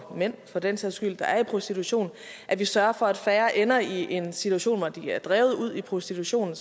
og mænd for den sags skyld der er i prostitution og at vi sørger for at færre ender i en situation hvor de er drevet ud i prostitution